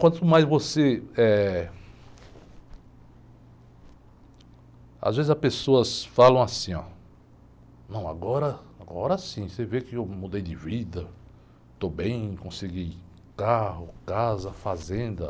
Quanto mais você, eh... Às vezes as pessoas falam assim, oh, não, agora, agora sim, você vê que eu mudei de vida, estou bem, consegui carro, casa, fazenda.